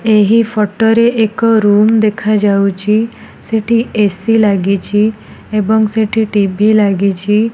ଏହି ଫଟୋ ରେ ଏକ ରୁମ୍ ଦେଖାଯାଉଚି। ସେଠି ଏ_ସି ଲାଗିଚି ଏବଂ ସେଠି ଟି_ଭି ଲାଗିଚି।